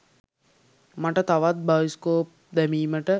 මට තවත් බයිස්කෝප් දැමීමට